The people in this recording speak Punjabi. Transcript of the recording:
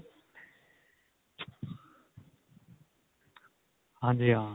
ਹਾਂਜੀ ਹਾਂ